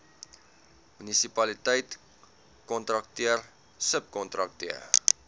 munisipaliteit kontrakteur subkontrakteur